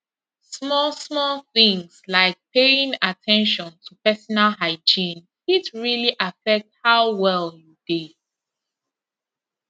small small things like paying at ten tion to personal hygiene fit really affect how well you dey